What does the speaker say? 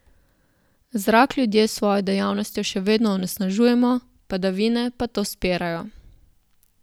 Zrak ljudje s svojo dejavnostjo še vedno onesnažujemo, padavine pa to spirajo.